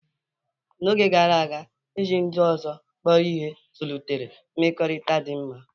N'oge gara aga, iji ndị ọzọ kpọrọ ihe zụlitere mmekọrịta dị mma.